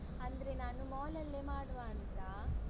ಅಂದ್ರೆ ನಾನು mall ಅಲ್ಲೆ ಮಾಡುವ ಅಂತ.